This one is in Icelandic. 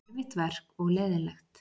Erfitt verk og leiðinlegt.